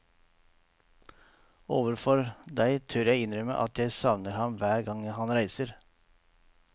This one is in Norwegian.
Overfor deg tør jeg innrømme at jeg savner ham hver gang han reiser.